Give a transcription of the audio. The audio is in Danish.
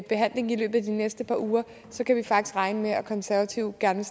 behandlingen i løbet af de næste par uger så kan vi faktisk regne med at konservative gerne